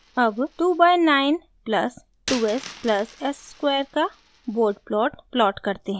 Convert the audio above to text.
अब 2 by 9 plus 2 s plus s square का bode plot plot करते हैं